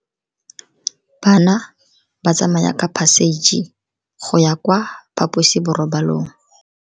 Bana ba tsamaya ka phašitshe go ya kwa phaposiborobalong.